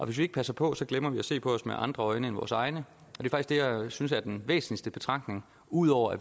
hvis vi ikke passer på glemmer vi at se på os selv med andre øjne end vores egne og jeg synes er den væsentligste betragtning ud over at